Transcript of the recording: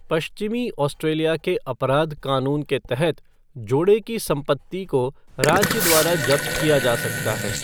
पश्चिमी ऑस्ट्रेलिया के अपराध कानून के तहत जोड़े की संपत्ति को राज्य द्वारा जब्त किया जा सकता है।